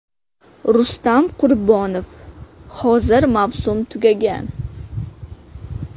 Rustam Qurbonov: Hozir mavsum tugagan.